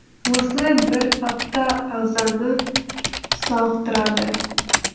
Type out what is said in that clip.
осылай бір апта ағзаны сауықтырады